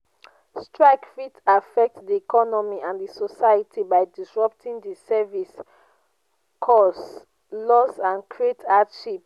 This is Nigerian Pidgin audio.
strike fit affect di economy and di society by disrupting di services cause loss and create hardship.